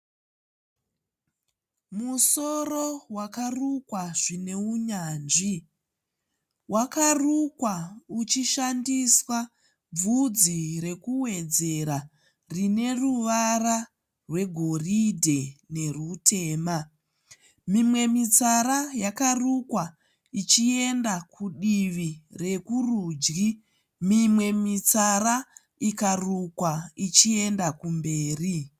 Musoro wakwarukwa zvine unyanzvi. Wakarukwa uchishandiswa bvudzi rekuwedzera rine ruvara rwegoridhe nerutema. Mimwe mitsara yakarukwa ichienda kudivi rekurudyi. Mimwe mitsara ikarukwa ichienda kumberi.